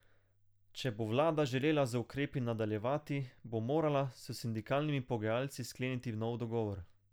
Če bo vlada želela z ukrepi nadaljevati, bo morala s sindikalnimi pogajalci skleniti nov dogovor.